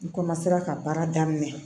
N ka baara daminɛ